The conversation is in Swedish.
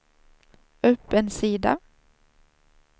upp en sida